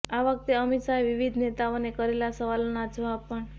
આ વખતે અમિત શાહે વિવિધ નેતાઓએ કરેલાં સવાલોના જવાબ પણ